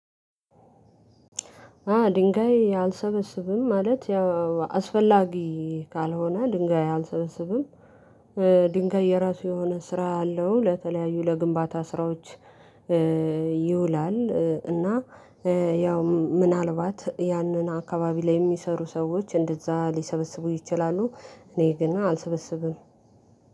አ ድንጋይ አልሰበስብም ማለት አስፈላጊ ካልሆነ ድንጋይ አልሰበስብም። ድንጋይ የራሱ የሆነ ስራ አለው ለተለያዩ ለግንባታ ስራዎች ይውላል። እና ያው ምናልባት ያንን አካባቢ ላይ የሚሰሩ ሰዎች እንደዛ ሊሰበስቡ ይችላሉ። እኔ ግን አልሰበስብም።